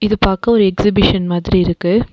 இது பாக்க ஒரு எக்ஸிபிஷன் மாதிரி இருக்கு.